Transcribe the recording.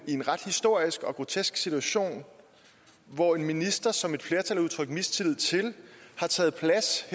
en ret historisk og grotesk situation hvor en minister som et flertal har udtrykt mistillid til har taget plads